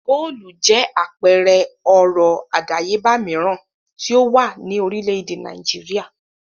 Góólù jẹ́ àpẹẹrẹ ọrọ̀ àdáyébà mìíràn tí ó wà ní orílẹ̀-èdè Nàìjíríà.